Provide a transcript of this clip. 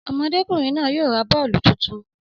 Ọmọdékùnrin náà yóò ra bọ́ọ̀lù tuntun